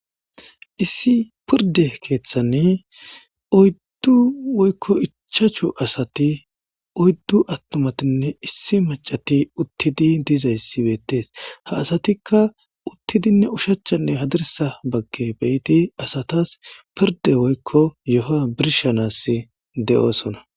Issi piridde keththanne oyiddu woyikko ichchashshu asati oyidu attumatinne issi mac'ara uththidi dizza bettes asatikka uththidinne ushshachanne hadirissa bagara ke'idinne asatas firidde woyikko yihuwa birshshanas de'osona